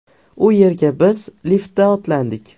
U yerga biz liftda otlandik.